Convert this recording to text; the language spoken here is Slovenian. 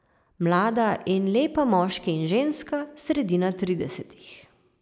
Mlada in lepa moški in ženska, sredina tridesetih.